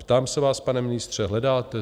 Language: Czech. Ptám se vás, pane ministře, hledáte?